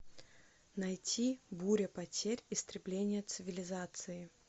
найти буря потерь истребление цивилизации